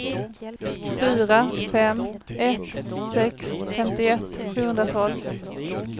fyra fem ett sex femtioett sjuhundratolv